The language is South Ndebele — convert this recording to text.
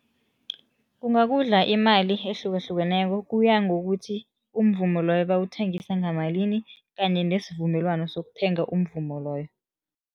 Kungakudla imali ehlukahlukeneko. Kuya ngokuthi umvumo loyo bawuthengisa ngamalimi kanye nesivumelwano sokuthenga umvumo loyo.